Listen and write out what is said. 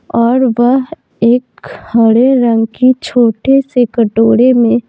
और वह एक हरे रंग की छोटे से कटोरे में --